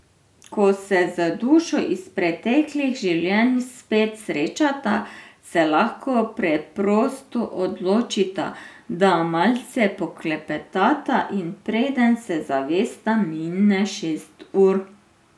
Ko se z dušo iz preteklih življenj spet srečata, se lahko preprosto odločita, da malce poklepetata, in preden se zaveste, mine šest ur.